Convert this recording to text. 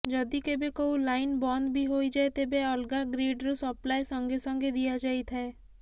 ଯଦି କେବେ କୋଉ ଲାଇନ୍ ବନ୍ଦ ବି ହୋଇଯାଏ ତେବେ ଅଲଗା ଗ୍ରିଡ୍ ରୁ ସପ୍ଳାଏ ସଙ୍ଗେସଙ୍ଗେ ଦିଆଯାଇଥାଏ